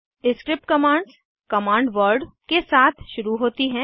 script commands command word के साथ शुरू होती हैं